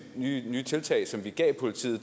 nye tiltag som vi gav politiet